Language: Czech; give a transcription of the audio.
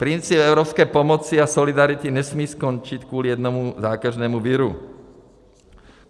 Princip evropské pomoci a solidarity nesmí skončit kvůli jednomu zákeřnému viru.